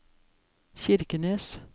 Kirkenes